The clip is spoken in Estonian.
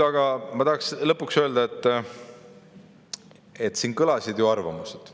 Aga ma tahaks lõpuks öelda, et siin kõlasid ju arvamused.